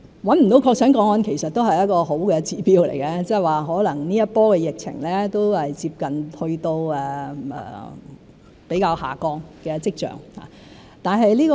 找不到確診個案其實也是一個好的指標，即是說，可能這一波的疫情都接近有下降的跡象。